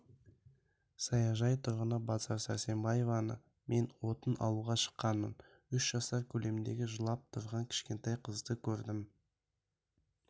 саяжай тұрғыны базар сәрсенбаева мен отын алуға шыққанмын үш жасар көлеміндегі жылап тұрған кішкентай қызды көрдім